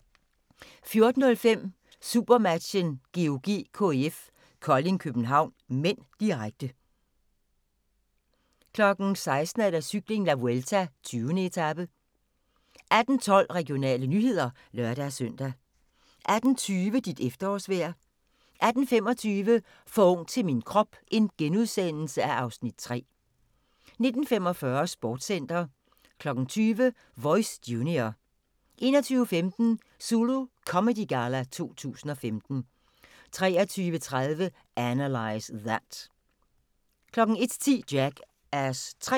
14:05: SuperMatchen: GOG-KIF Kolding København (m), direkte 16:00: Cykling: La Vuelta - 20. etape 18:12: Regionale nyheder (lør-søn) 18:20: Dit efterårsvejr 18:25: For ung til min krop (Afs. 3)* 19:45: Sportscenter 20:00: Voice Junior 21:15: Zulu Comedy Galla 2015 23:30: Analyze That 01:10: Jackass 3